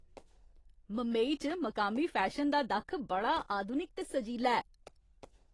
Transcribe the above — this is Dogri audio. मंबई च मकामी फैशन दा दक्ख बड़ा आधुनिक ते सजीला ऐ।